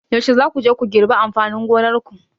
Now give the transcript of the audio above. Yaushe za ku je ku girbi amfanin gonar ku?